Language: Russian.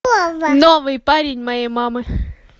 новый парень моей мамы